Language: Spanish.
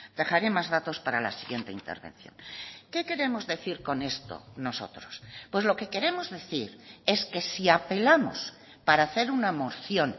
dejaré más datos para la siguiente intervención qué queremos decir con esto nosotros pues lo que queremos decir es que si apelamos para hacer una moción